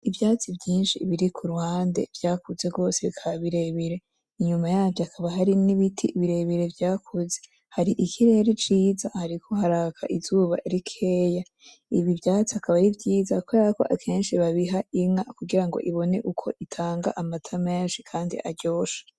Ivyatsi vyinshi biri kuruhande vyakuze gose bikaba birebire inyuma yavyo hakaba harimwo ibiti birebire vyakuze hari ikirere ciza hariko haraka izuba rikeya ibi vyatsi akaba ar'ivyiza kuberako akenshi babiha inka kugira ng'ibone uko itanga amata menshi kandi aryoshe.